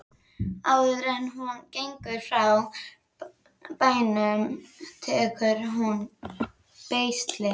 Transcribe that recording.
Áður en hún gengur frá bænum tekur hún beisli.